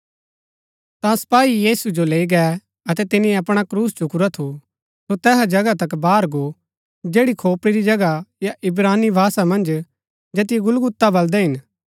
ता सपाई यीशु जो लैई गै अतै तिनी अपणा क्रूस चुकुरा थू सो तैसा जगहा तक बाहर गो जैड़ी खोपड़ी री जगह या इब्रानी भाषा मन्ज जैतियो गुलगुता बलदै हिन